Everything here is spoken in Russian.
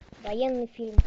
военный фильм